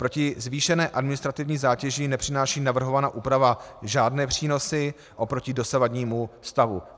Proti zvýšené administrativní zátěži nepřináší navrhovaná úprava žádné přínosy oproti dosavadnímu stavu.